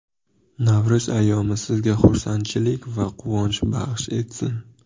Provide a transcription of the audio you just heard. Navro‘z ayyomi sizga xursandchilik va quvonch baxsh etsin.